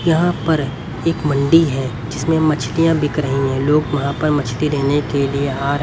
यहां पर एक मंडी है जिसमें मछलियां बिक रही है लोग वहां पर मछली देने के लिए हार--